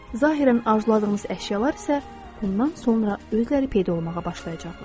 Zahirən arzuladığınız əşyalar isə bundan sonra özləri peyda olmağa başlayacaqlar.